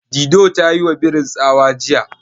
Dido ta yiwa birin tsawa jiya.